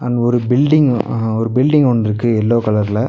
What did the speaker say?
இங்க ஒரு பில்டிங் அ ஒரு பில்டிங் ஒன்ருக்கு எல்லோ கலர்ல .